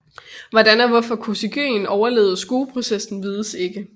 Hvordan og hvorfor Kosygin overlevede skueprocessen vises ikke